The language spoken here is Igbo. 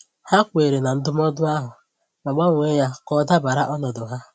Ha kweere na ndụmọdụ ahụ, ma gbanwee ya ka ọ dabara ọnọdụ ha.